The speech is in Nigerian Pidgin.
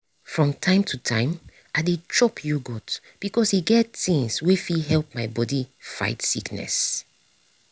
from time to time i dey chop yogurt because e get things wey fit help my body fight sickness